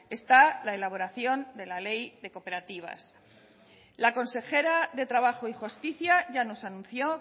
está la elaboración de la ley de cooperativas la consejera de trabajo y justicia ya nos anunció